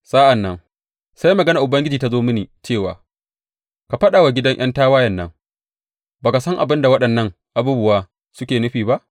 Sai maganar Ubangiji ta zo mini cewa, Ka faɗa wa gidan ’yan tawayen nan, Ba ka san abin da waɗannan abubuwa suke nufi ba?’